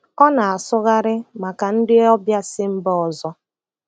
Ọ na-asụgharị maka ndị ọbịa si mba ọzọ.